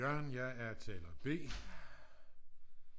jørgen jeg er taler b